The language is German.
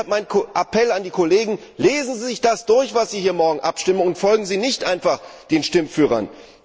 Deshalb mein Appell an die Kollegen Lesen Sie sich das durch, worüber Sie morgen abstimmen, und folgen Sie nicht einfach den Stimmführern!